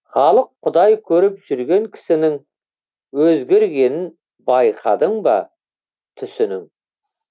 халық құдай көріп жүрген кісінің өзгергенін байқадың ба түсінің